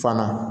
Fana